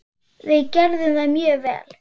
Við gerðum það mjög vel.